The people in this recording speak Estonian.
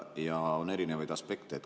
Ja on erinevaid aspekte.